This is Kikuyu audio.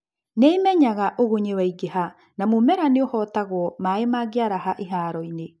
nĩimenyaga ũgunyĩ waingĩha na mũmera nĩũhotagwo maĩĩ mangĩaraha iharoĩnĩ